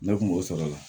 Ne kun b'o sɔrɔ o la